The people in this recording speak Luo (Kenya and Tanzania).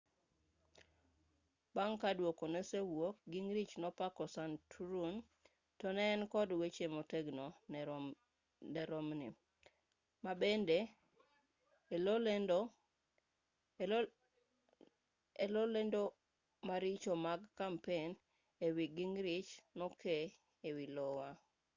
bang' ka duoko nosewuok gingrich nopako santorum to ne en kod weche motegno ne romney ma bende e loe lendo maricho mag kampen e wi gingrich nokee ei iowa